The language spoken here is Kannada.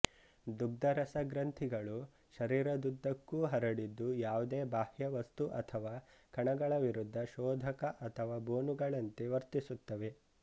ದುಗ್ಧರಸ ಗ್ರಂಥಿಗಳು ಶರೀರದುದ್ದಕ್ಕೂ ಹರಡಿದ್ದು ಯಾವುದೇ ಬಾಹ್ಯವಸ್ತು ಅಥವಾ ಕಣಗಳ ವಿರುದ್ಧ ಶೋಧಕ ಅಥವಾ ಬೋನುಗಳಂತೆ ವರ್ತಿಸುತ್ತವೆ